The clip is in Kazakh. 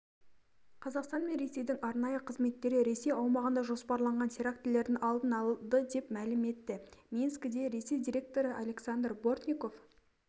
қазақстан мен ресейдің арнайы қызметтері ресей аумағында жоспарланған терактілердің алдын алды деп мәлім етті минскіде ресей директоры александр бортников